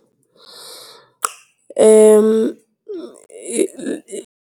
.